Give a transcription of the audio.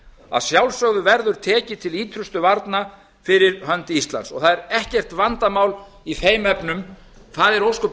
að sjálfsögðu verður tekið til ýtrustu varna fyrir hönd íslands og það er ekkert vandamál í þeim efnum það er ósköp